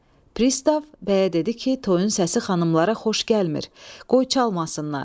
Pristav bəyə dedi ki, toyun səsi xanımlara xoş gəlmir, qoy çalmasınlar.